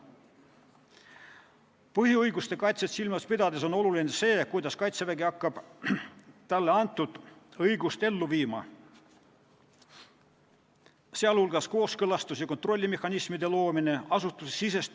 Põhiõiguste kaitset silmas pidades on oluline see, kuidas Kaitsevägi hakkab talle antud õigust ellu viima .